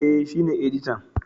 E, shi ne editan.